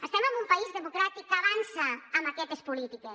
estem en un país democràtic que avança amb aquestes polítiques